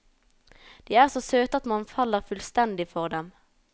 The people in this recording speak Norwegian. De er så søte at man faller fullstendig for dem.